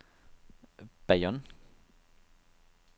Bayonne